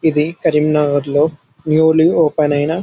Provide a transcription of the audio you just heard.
ఇది కరీం నగర్ లో newly open ఐన--